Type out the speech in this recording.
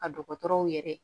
Ka dɔgɔtɔrɔw yɛrɛ